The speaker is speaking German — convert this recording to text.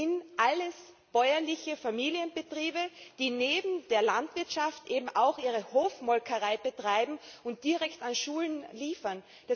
Das sind alles bäuerliche Familienbetriebe, die neben der Landwirtschaft eben auch ihre Hofmolkerei betreiben und direkt an Schulen liefern.